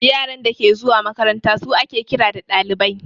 Yaran dake zuwa makaranta su ake ƙira ɗalibai